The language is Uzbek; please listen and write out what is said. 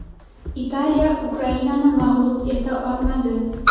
Italiya Ukrainani mag‘lub eta olmadi.